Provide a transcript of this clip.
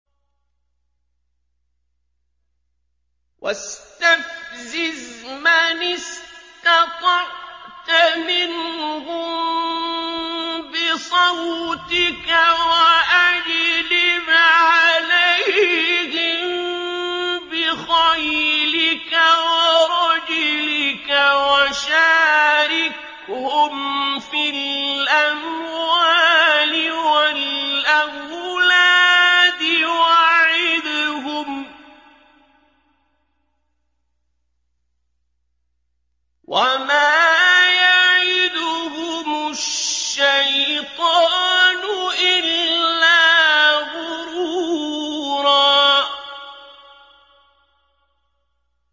وَاسْتَفْزِزْ مَنِ اسْتَطَعْتَ مِنْهُم بِصَوْتِكَ وَأَجْلِبْ عَلَيْهِم بِخَيْلِكَ وَرَجِلِكَ وَشَارِكْهُمْ فِي الْأَمْوَالِ وَالْأَوْلَادِ وَعِدْهُمْ ۚ وَمَا يَعِدُهُمُ الشَّيْطَانُ إِلَّا غُرُورًا